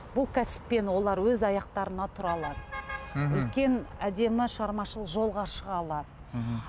бұл кәсіппен олар өз аяқтарына тұра алады мхм үлкен әдемі шығармашылық жолға шыға алады мхм